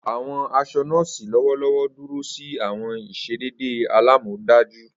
Awọn aṣọ nọ́ọ̀sì lọwọlọwọ duro si awọn iṣedede alamọdaju.